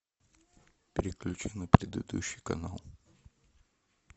переключи на предыдущий канал